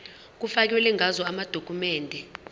kufakelwe ngazo amadokhumende